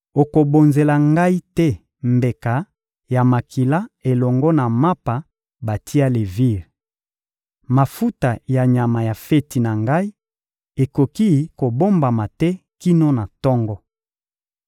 Okobonzela Ngai te mbeka ya makila elongo na mapa batia levire. Mafuta ya nyama ya feti na Ngai ekoki kobombama te kino na tongo.